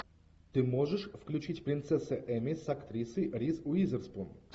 ты можешь включить принцесса эмми с актрисой риз уизерспун